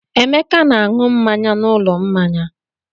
Emeka na-aṅụ mmanya n'ụlọ mmanya.